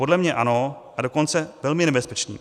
Podle mě ano, a dokonce velmi nebezpečným.